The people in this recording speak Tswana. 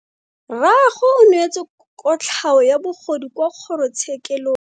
Rragwe o neetswe kotlhao ya bogodu kwa kgoro tshekelong.